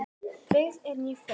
Byggð eru ný fjós.